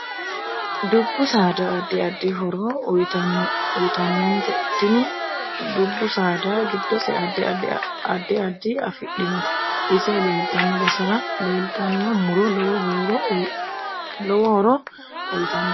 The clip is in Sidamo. Dubbu saada addi addi horo uyiitanote tini dubbu saada giddose addi addi afidhinote ise leeltanno basera leeltanno muro lowo horo uyiitanote